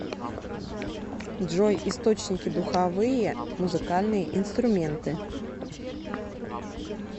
джой источники духовые музыкальные инструменты